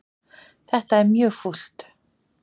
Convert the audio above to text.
Þetta er mjög fúlt